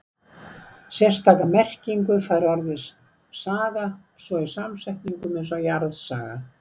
Sérstaka merkingu fær orðið saga svo í samsetningum eins og jarðsaga.